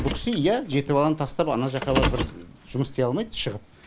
бұл кісі иә жеті баланы тастап ана жаққа барып бір жұмыс істей алмайды шығып